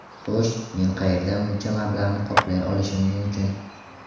Xo‘sh, men qayerdan buncha mablag‘ni qoplay olishim mumkin.